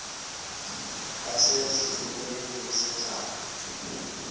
base zitulmeni zedaka